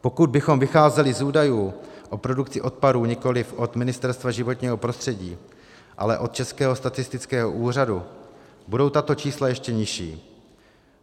Pokud bychom vycházeli z údajů o produkci odpadů nikoliv od Ministerstva životního prostředí, ale od Českého statistického úřadu, budou tato čísla ještě nižší.